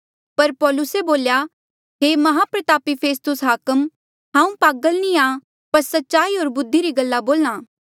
पर पौलुसे बोल्या हे माहप्रतापी फेस्तुस हाकम हांऊँ पागल नी आ पर सच्चाई होर बुद्धि री गल्ला बोल्हा